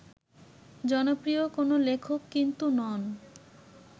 জনপ্রিয় কোনো লেখক কিন্তু নন